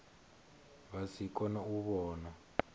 vha si kone u vhona